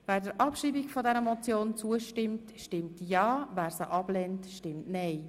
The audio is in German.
Wer der Abschreibung dieser Motion zustimmt, stimmt ja, wer das ablehnt, stimmt nein.